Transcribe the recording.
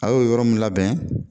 A y'o yɔrɔ mun labɛn.